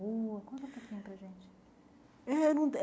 Conta um pouquinho para a gente. Eh não